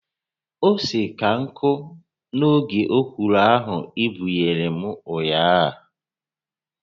Ose ka nkụ n'oge ọkwụrụ ahụ i buyere m ụnyaahụ